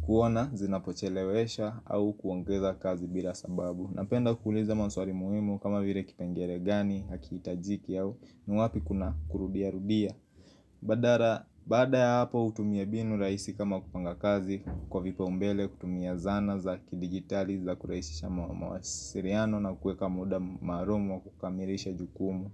kuona zinapochelewesha au kuongeza kazi bila sababu Napenda kuuliza maswali muhimu kama vile kipengelee gani hakihitajiki au ni wapi kuna kurudia rudia Baada ya hapo utumie mbinu rahisi kama kupanga kazi kwa vipaombele kutumia zana za kidigitali za kurahisisha mawasiliano na kuweka muda maalumu kukamilisha jukumu.